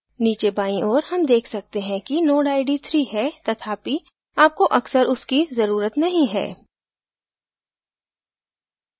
नीचे बाईं ओर हम देख सकते हैं कि node id 3 है तथापि आपको अक्सर उसकी जरूरत नहीं है